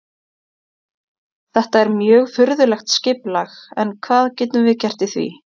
Þetta er mjög furðulegt skipulag en hvað getum við gert í því?